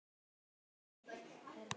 Dómarinn gerði mistök fyrir fyrra markið.